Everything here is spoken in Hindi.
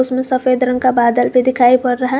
इसमें सफेद रंग का बादल भी दिखाई पड़ रहा है।